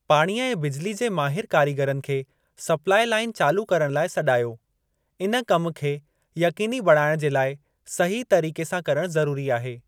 पाणीअ ऐं बिजली जे माहिर कारीगरनि खे स्पलाई लाइन चालू करणु लाइ सॾायो। इन कम खे यक़ीनी बणाइणु जे लाइ सही तरीक़े सां करणु ज़रूरी आहे।